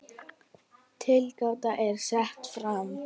Tilgáta er sett fram.